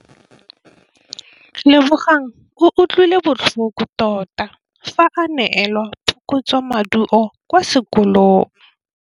Lebogang o utlwile botlhoko tota fa a neelwa phokotsômaduô kwa sekolong.